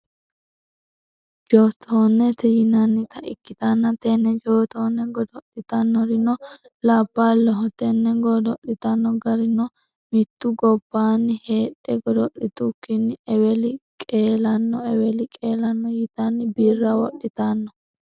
jootonnete yinannita ikitanna tenne jootinne goddo'litannorinno labaloho tenne goddo'litanno garinno mittu gobaanni heedhe godo'litukinni eweli qelanno eweli qelanno yitanno birra wodhitanno.